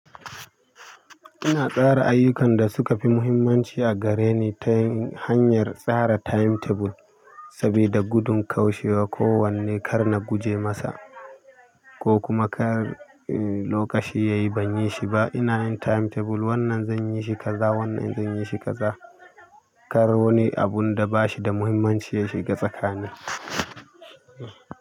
Ina tsara ayyukan da suka fi muhimmanci a gare ni ta hanyar tsara timetable, sabida gudun kaushewa. Ko wanne kar na guje masa ko kuma kar lokaci yayi ban yi shi ba. Ina yin timetable, wannan zan yi shi kaza, wannan zan yi shi kaza. Kar wani abun da ba shi da muhimmanci ya shiga tsakani.